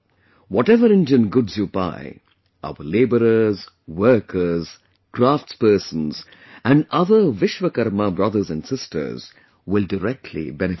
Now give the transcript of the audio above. Whatever Indian goods you buy, our laborers, workers, craftspersons and other Vishwakarma brothers and sisters will directly benefit from it